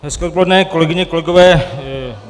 Hezké odpoledne, kolegyně, kolegové.